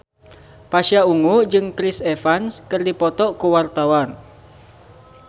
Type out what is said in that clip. Pasha Ungu jeung Chris Evans keur dipoto ku wartawan